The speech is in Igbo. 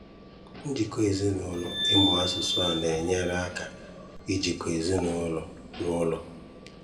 Njikọ Ezinụlọ: Ịmụ asụsụ a na-enyere aka ijikọ ezinụlọ n'ụlọ